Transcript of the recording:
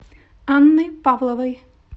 анны павловой